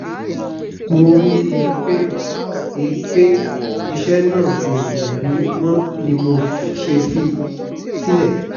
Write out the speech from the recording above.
mo rí i pé i pé iṣẹ́ náà kò wù mí mọ́ ni mo ṣe fi sílẹ̀